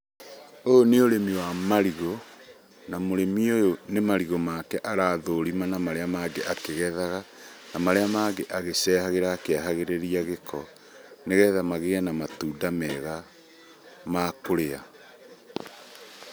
Ũyũ nĩ ũrĩmi wa marigũ na mũrĩmi ũyũ nĩ marigũ make arathũrima na marĩa mangĩ akĩgethaga, na marĩa mangĩ agĩcehagĩra ,akĩehagĩrĩria gĩko nĩgetha magĩe na matunda mega ma kũrĩa.